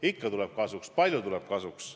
Ikka tuleb kasuks, palju tuleb kasuks.